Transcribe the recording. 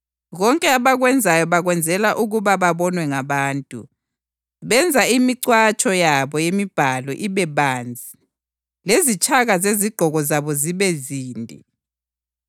Konke abakwenzayo bakwenzela ukuba babonwe ngabantu, benza imicwatsho yabo yemibhalo ibe banzi lezintshaka zezigqoko zabo zibe zinde;